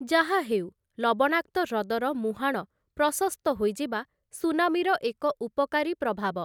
ଯାହାହେଉ, ଲବଣାକ୍ତ ହ୍ରଦର ମୁହାଁଣ ପ୍ରଶସ୍ତ ହୋଇଯିବା ସୁନାମିର ଏକ ଉପକାରୀ ପ୍ରଭାବ ।